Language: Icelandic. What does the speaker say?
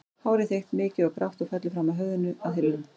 Hárið þykkt, mikið og grátt og fellur fram af höfðinu að hylnum.